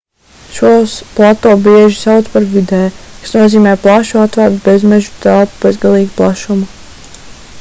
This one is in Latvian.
šos plato bieži sauc par vidde kas nozīmē plašu atvērtu bezmeža telpu bezgalīgu plašumu